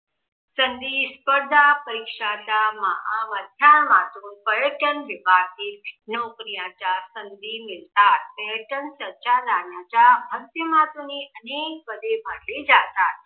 संधी स्पर्धा परीक्षेच्या माहा माध्यमातून पर्यटन विभाग नोकरीच्या संधी मिळतात. पर्यटन सहयोगाच्या माध्यमातून अनेक पदे भरली जातात.